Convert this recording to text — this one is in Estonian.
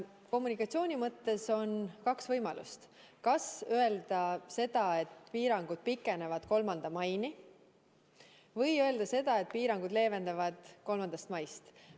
Kommunikatsiooni mõttes on kaks võimalust: kas öelda seda, et piirangud pikenevad 3. maini, või öelda seda, et piirangud leevenevad 3. maist.